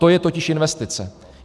To je totiž investice.